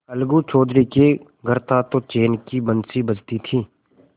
अलगू चौधरी के घर था तो चैन की बंशी बजती थी